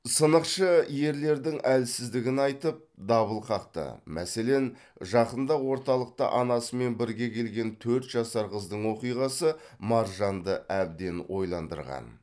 сынықшы ерлердің әлсіздігін айтып дабыл қақты мәселен жақында орталыққа анасымен бірге келген төрт жасар қыздың оқиғасы маржанды әбден ойландырған